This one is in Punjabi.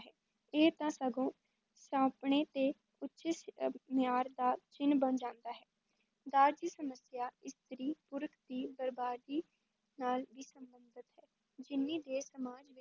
ਇਹ ਤਾਂ ਸਗੋਂ ਆਪਣੇ ਤੇ ਉੱਚ ਸ ਅਹ ਮਿਆਰ ਦਾ ਚਿੰਨ ਬਣ ਜਾਂਦਾ ਹੈ, ਦਾਜ ਦੀ ਸਮੱਸਿਆ ਇਸਤਰੀ ਪੁਰਖ ਦੀ ਬਰਬਾਦੀ ਨਾਲ ਵੀ ਸੰਬੰਧਿਤ ਹੈ, ਜਿੰਨੀ ਦੇਰ ਸਮਾਜ